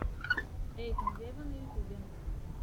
эйкон вево на ютюбе